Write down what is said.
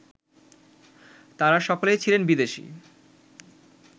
তাঁরা সকলেই ছিলেন বিদেশী